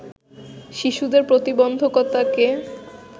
শিশুদের প্রতিবন্ধকতাকে